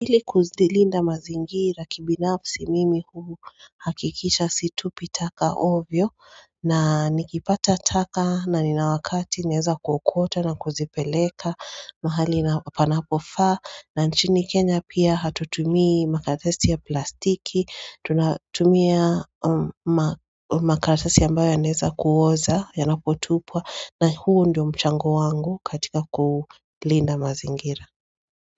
Hili kuzilinda mazingira kibinabsi mimi huu hakikisha situpi taka ovyo na nikipata taka na ni na wakati neza kukwota na kuzipeleka mahali na panapofaa na nchini kenya pia hatutumii makaratasi ya plastiki tunatumia makaratasi ambayo ya naeza kuoza yanapotupwa na huu ndio mchango wangu katika kulinda mazingira.